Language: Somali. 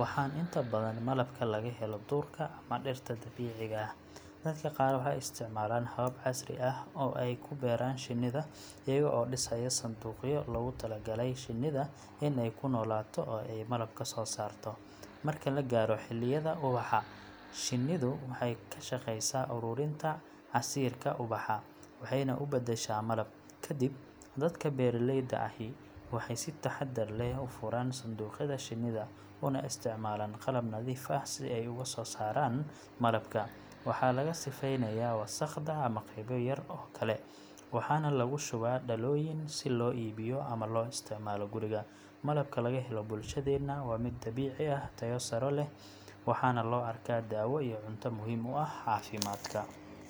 waxaana inta badan malabka laga helo duurka ama dhirta dabiiciga ah. Dadka qaar waxay isticmaalaan habab casri ah oo ay ku beeraan shinnida, iyaga oo dhisaya sanduuqyo loogu talagalay shinnida in ay ku noolaato oo ay malab ka soo saarto. Marka la gaaro xilliyada ubaxa, shinnidu waxay ka shaqaysaa ururinta casiirka ubaxa, waxayna u beddeshaa malab. Ka dib, dadka beeraleyda ahi waxay si taxadar leh u furaan sanduuqyada shinnida, una isticmaalaan qalab nadiif ah si ay uga soo saaraan malabka. Waxaa laga sifeynayaa wasakhda ama qaybo yar oo kale, waxaana lagu shubaa dhalooyin si loo iibiyo ama loo isticmaalo guriga. Malabka laga helo bulshadeenna waa mid dabiici ah, tayo sare leh, waxaana loo arkaa daawo iyo cunto muhiim u ah caafimaadka.